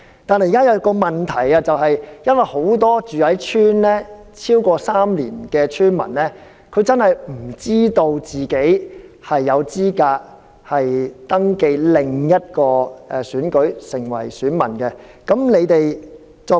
但是，現在的問題是很多已在鄉村居住超過3年的村民，並不知道自己有資格登記成為另一個選舉的選民。